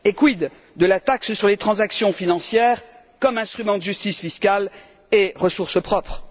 Quid de la taxe sur les transactions financières, comme instrument de justice fiscale et ressource propre?